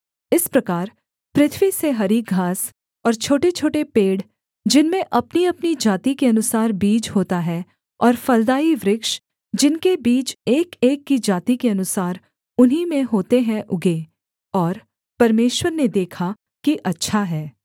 इस प्रकार पृथ्वी से हरी घास और छोटेछोटे पेड़ जिनमें अपनीअपनी जाति के अनुसार बीज होता है और फलदाई वृक्ष जिनके बीज एकएक की जाति के अनुसार उन्हीं में होते हैं उगें और परमेश्वर ने देखा कि अच्छा है